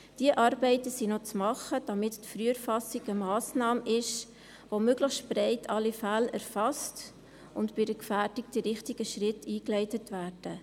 Diese Arbeiten sind noch anzupacken, damit die Früherfassung eine Massnahme ist, die möglichst breit alle Fälle erfasst und damit bei einer Gefährdung die richtigen Schritte eingeleitet werden.